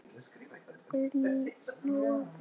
Guðný: Nóg af lausum hellum?